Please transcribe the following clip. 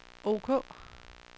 ok